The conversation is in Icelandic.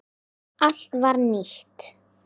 Allt var nýtt.